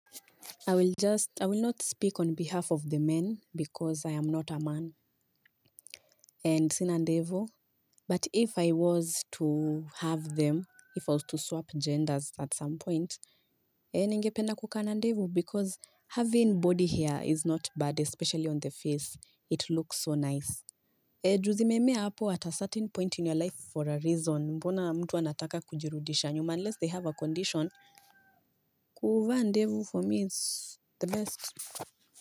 I will just I will not speak on behalf of the men because I am not a man. And sina ndevu. But if I was to have them if I was to swap genders at some point. E ningependa kukaa na ndevu because having body hair is not bad especially on the face it looks so nice. E juzi memea hapo at a certain point in your life for a reason mbona mtu anataka kujirudisha nyuma unless they have a condition. Kuvaa ndevu for me is the best.